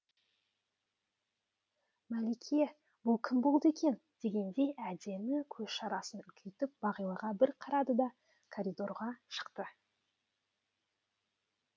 мәлике бұл кім болды екен дегендей әдемі көз шарасын үлкейтіп бағилаға бір қарады да коридорға шықты